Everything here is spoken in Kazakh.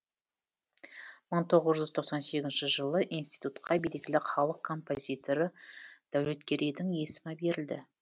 мың тоғыз жүз тоқсан сегізінші жылы институтқа белгілі халық композиторы дәулеткерейдің есімі берілді